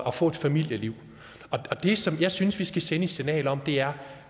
at få et familieliv og det som jeg synes vi skal sende et signal om er